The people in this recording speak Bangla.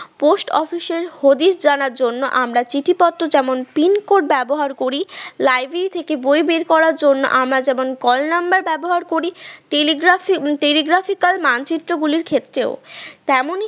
post office র হদিস জানার জন্য আমরা চিঠিপত্র যেমন pin code ব্যবহার করি, library থেকে বই বের করার জন্য আমরা কেমন call number ব্যবহার করি telegraph telegraphical এর মানচিত্রগুলোর ক্ষেত্রেও তেমন